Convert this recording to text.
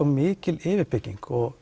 mikil yfirbygging